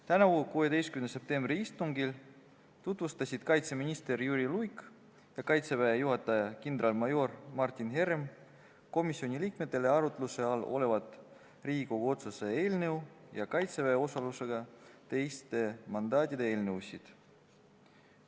Tänavusel 16. septembri istungil tutvustasid kaitseminister Jüri Luik ja Kaitseväe juhataja kindralmajor Martin Herem komisjoni liikmetele arutluse all olevat Riigikogu otsuse eelnõu ja Kaitseväe osalusega teiste mandaatide eelnõusid.